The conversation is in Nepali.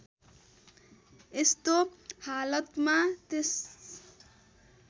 यस्तो हालतमा त्यस